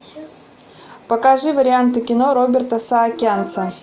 покажи варианты кино роберта саакянца